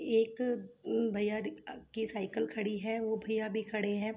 एक उम भैया की साईकल खड़ी है वो भैया भी खड़े हैं।